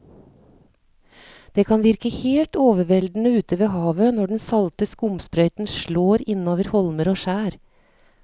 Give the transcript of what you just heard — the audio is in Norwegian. Det kan virke helt overveldende ute ved havet når den salte skumsprøyten slår innover holmer og skjær.